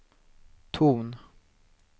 ton